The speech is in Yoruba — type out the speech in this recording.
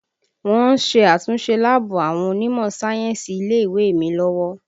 Wọ́n ń ṣe àtúnṣe láàbù àwọn onímọ̀ sáyẹ́ǹsì ilé ìwé mi lọ́wọ́